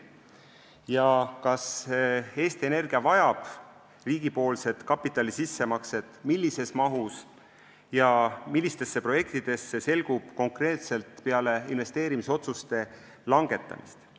See, kas Eesti Energia vajab riigipoolset kapitali sissemakset ning kui jah, siis millises mahus ja millistesse projektidesse, selgub konkreetselt peale investeerimisotsuste langetamist.